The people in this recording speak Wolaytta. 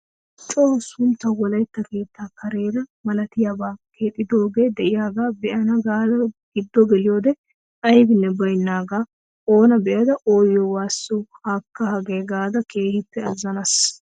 Coo sunttawu wolaitta keettaa kareera malatiyaabaa keexxidoogee diyaagaa be'ana gaada gido geliyoode aybinne baynaagaa onaa be'ada oyyo waasso haakka hagee gaada keehiippe azzanaas.